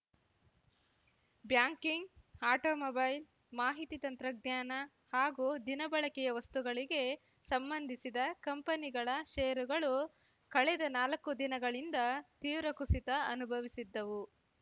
banking automobile ಮಾಹಿತಿ ತಂತ್ರಜ್ಞಾನ ಹಾಗೂ ದಿನಬಳಕೆಯ ವಸ್ತುಗಳಿಗೆ ಸಂಬಂಧಿಸಿದ ಕಂಪನಿಗಳ ಷೇರುಗಳು ಕಳೆದ ನಾಲ್ಕು ದಿನಗಳಿಂದ ತೀವ್ರ ಕುಸಿತ ಅನುಭವಿಸಿದ್ದವು